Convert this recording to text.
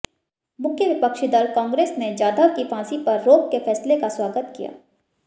मुख्य विपक्षी दल कांग्रेस ने जाधव की फांसी पर रोक के फैसले का स्वागत किया